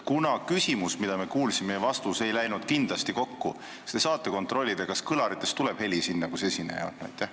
Kuna küsimus ja vastus, mida me kuulsime, ei läinud kindlasti kokku, kas te siis saate kontrollida, kas kõlaritest tuleb heli sinna, kus esineja on?